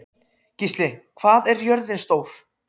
Gísli, hvað er jörðin stór?